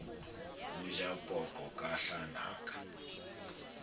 o ja poqo ka hlanaka